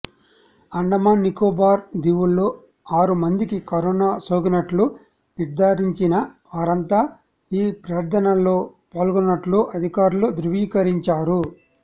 అండమాన్ నికోబార్ దీవుల్లో ఆరుమందికి కరోనా సోకినట్లు నిర్ధారించిన వారంతా ఈ ప్రార్థనల్లో పాల్గొన్నట్లు అధికారులు ధృవీకరించారు